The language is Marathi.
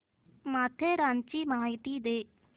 माथेरानची माहिती दे